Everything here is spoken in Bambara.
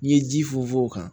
N'i ye ji funfun o kan